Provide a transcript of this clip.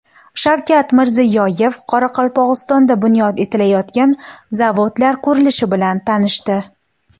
Shavkat Mirziyoyev Qoraqalpog‘istonda bunyod etilayotgan zavodlar qurilishi bilan tanishdi.